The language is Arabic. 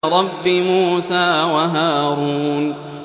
رَبِّ مُوسَىٰ وَهَارُونَ